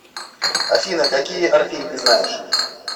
афина какие орфей ты знаешь